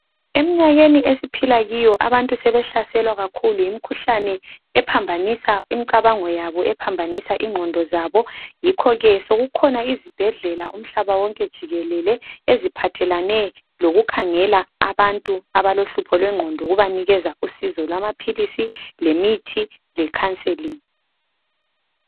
Emnyakeni esiphila Kiyo abantu sebehlaselwa kakhulu yimikhuhlani ephambanisa imcabango yabo ephambanisa ingqondo zabo yikho ke sokukhona izibhedlela umhlaba wonke jikelele eziphathelane lokukhangela abantu abalohlupho lwengqondo lokubanikeza usizo lamaphilisi lemithi lokubanikeza ikhanselinhi